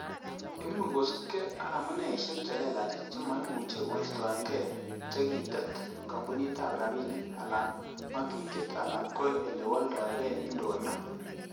Imuch ko kosiibge ak amuneisiek chelelach che moumeche keistoenge chekitet kompunitab rabinik, alan ko ngatutiet, alan ko ele wolndoge indonyo.